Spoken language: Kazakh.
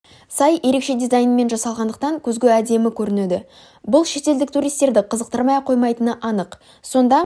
сай ерекше дизайнмен жасалғандықтан көзге өте әдемі көрінеді бұл шетелдік туристерді қызықтырмай қоймайтыны анық сонда